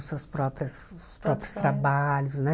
suas próprias seus próprios trabalhos, né?